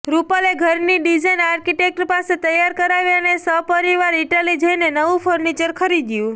રૂપલે ઘરની design architect પાસે તૈયાર કરાવી અને સપરિવાર ઈટાલી જઈને નવું ફર્નિચર ખરીદ્યું